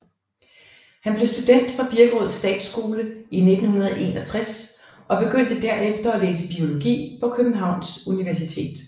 Han blev student fra Birkerød Statsskole i 1961 og begyndte derefter at læse biologi på Københavns Universitet